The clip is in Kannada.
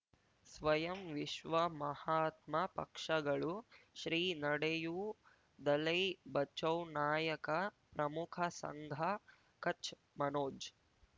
ಸ್ವಯಂ ವಿಶ್ವ ಮಹಾತ್ಮ ಪಕ್ಷಗಳು ಶ್ರೀ ನಡೆಯೂ ದಲೈ ಬಚೌ ನಾಯಕ ಪ್ರಮುಖ ಸಂಘ ಕಚ್ ಮನೋಜ್